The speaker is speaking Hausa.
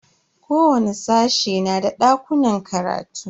Kowani sashe na da dakunan karatu.